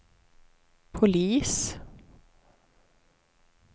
polis